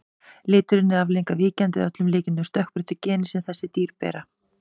Liturinn er afleiðing af víkjandi, að öllum líkindum stökkbreyttu, geni sem þessi dýr bera.